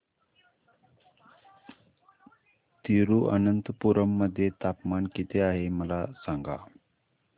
तिरूअनंतपुरम मध्ये तापमान किती आहे मला सांगा